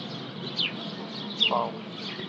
хаус